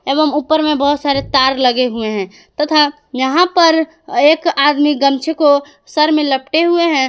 एवं ऊपर में बहुत सारे तार लगे हुए हैं तथा यहां पर एक आदमी गमछा को सर में लपटे हुए हैं।